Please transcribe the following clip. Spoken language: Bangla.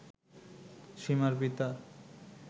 সীমার পিতা